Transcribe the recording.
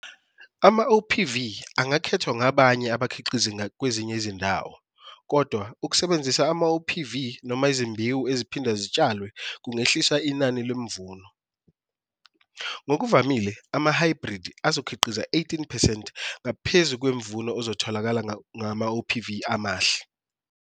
AmaOPV angakhethwa ngabanye abakhiqizi kwezinye izindawo, kodwa ukusebenzisa amaOPV noma izimbewu eziphinda zitshalwe kungehlisa inani lomvuno. Ngokuvamile, amahhayibhridi azokhiqiza 18 percent ngaphezu kwemvuno ozotholakala ngamaOPV amahle.